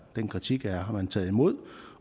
den kritik har man taget imod